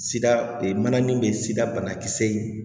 Sida mana min bɛ sida banakisɛ ye